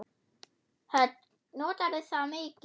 Hödd: Notarðu það mikið?